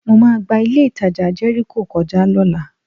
Mo máa gba ilé-ìtajà Jẹ́ríkò kọjá lọ́la